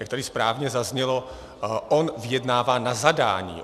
Jak tady správně zaznělo, on vyjednává na zadání.